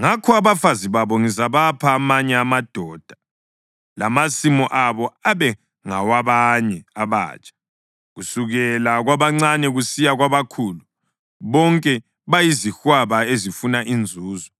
Ngakho abafazi babo ngizabapha amanye amadoda lamasimu abo abe ngawabanye abatsha. Kusukela kwabancane kusiya kwabakhulu, bonke bayizihwaba ezifuna inzuzo,